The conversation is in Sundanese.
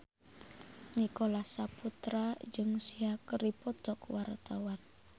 Nicholas Saputra jeung Sia keur dipoto ku wartawan